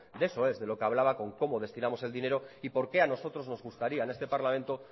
de eso es de lo que hablaba con cómo destinamos el dinero y por qué a nosotros nos gustaría en este parlamento